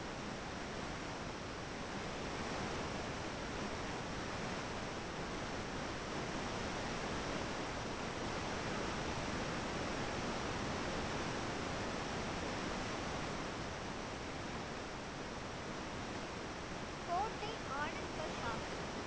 கோட்டை ஆனந்த்கர் சாஹிப்